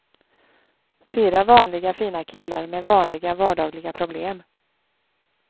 Fyra vanliga fina killar med vanliga vardagliga problem.